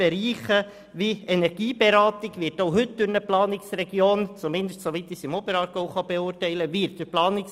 Bereiche wie die Energieberatung werden heute ebenfalls durch eine Planungsregion – zumindest soweit ich dies für den Oberaargau beurteilen kann – übernommen.